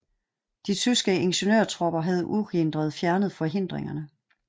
De tyske ingeniørtropper havde uhindret fjernet forhindringerne